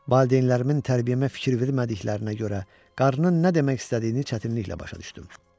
Valideynlərimin tərbiyəmə fikir vermədiklərinə görə qarının nə demək istədiyini çətinliklə başa düşdüm.